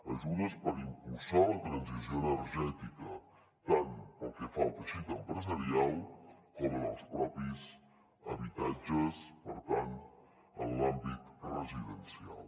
ajudes per impulsar la transició energètica tant pel que fa al teixit empresarial com en els propis habitatges per tant en l’àmbit residencial